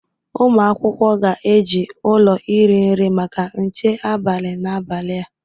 Ụmụ akwụkwọ ga-eji ụlọ iri nri maka nche abalị n'abalị a